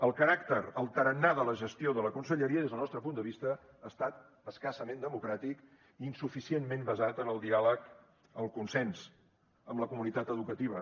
el caràcter el tarannà de la gestió de la conselleria des del nos tre punt de vista ha estat escassament democràtic insuficientment basat en el diàleg el consens amb la comunitat educativa